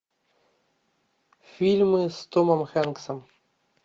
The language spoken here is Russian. фильмы с томом хэнксом